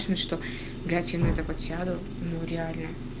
что блять я на это подсяду ну реально